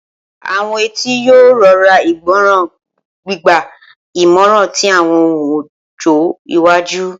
Awọn etí yoo rọra igbọran, gbigba imọran ti awọn ohun ojo iwaju.